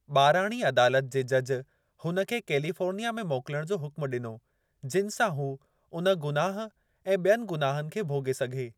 ॿाराणी अदालतु (कोर्ट) जे जज हुन खे कालिफोर्निया में मोकलणु जो हुक़्मु डि॒नो जिनि सां हू, उन गुनाहु ऐं बि॒यनि गुनाहनि खे भोगे॒ सघे।